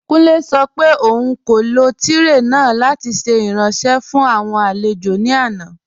Kùnlẹ̀ sọ̀ pé ọ̀un kò lọ tirẹé náà lati ṣẹ̀ iranṣẹ̀ fún awọn alẹ̀jọ̀ ní àná.